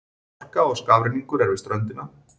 Hálka og skafrenningur er við ströndina